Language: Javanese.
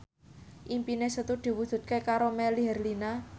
impine Setu diwujudke karo Melly Herlina